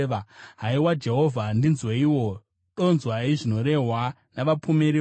Haiwa Jehovha ndinzweiwo; inzwai zvinorehwa navapomeri vangu!